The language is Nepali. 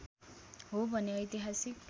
हो भने ऐतिहासिक